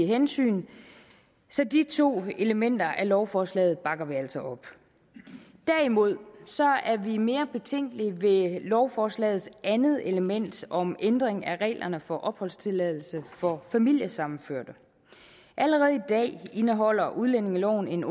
hensyn så de to elementer af lovforslaget bakker vi altså op derimod er vi mere betænkelige ved lovforslagets andet element om ændring af reglerne for opholdstilladelse for familiesammenførte allerede i dag indeholder udlændingeloven en